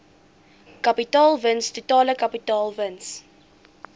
kapitaalwins totale kapitaalwins